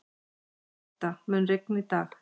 Bengta, mun rigna í dag?